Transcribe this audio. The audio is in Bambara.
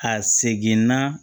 Ka segin n'a